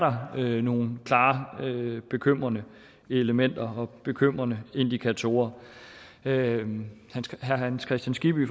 nogle klart bekymrende elementer og bekymrende indikatorer herre hans kristian skibby